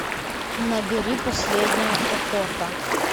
набери последняя охота